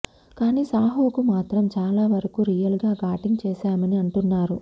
కానీ సాహోకు మాత్రం చాలా వరకు రియల్ గా షూటింగ్ చేశామని అంటున్నారు